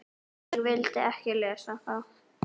Ég vildi ekki lesa það.